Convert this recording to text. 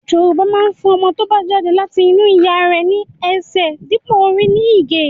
Yorùbá máa ń fún ọmọ tó bá jáde láti inú ìyá rẹ̀ ní ẹsẹ̀ dípò orí ní Ìgè